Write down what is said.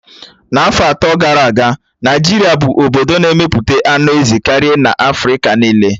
Afọ atọ gara aga, Naịjirịa bụ obodo na-emepụta anụ ezi karịa na Afrịka niile